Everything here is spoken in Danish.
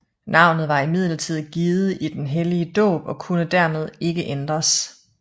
Navnet var imidlertid givet i den hellige dåb og kunne dermed ikke ændres